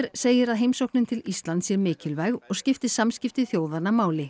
segir að heimsóknin til Íslands sé mikilvæg og skipti samskipti þjóðanna máli